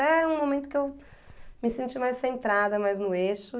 Até um momento que eu me senti mais centrada, mais no eixo.